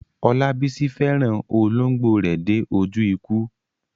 Olabisi fẹ́ràn olóńgbò rẹ̀ dé ojú ikú.